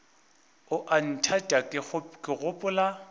o a nthata ke gopola